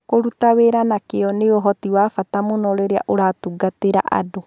Kũruta wĩra na kĩyo nĩ ũhoti wa bata mũno rĩrĩa ũratungatĩra andũ.